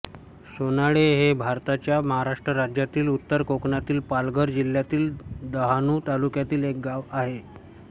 सोनाळे हे भारताच्या महाराष्ट्र राज्यातील उत्तर कोकणातील पालघर जिल्ह्यातील डहाणू तालुक्यातील एक गाव आहे